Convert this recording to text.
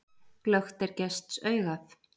Glöggt er gests augað.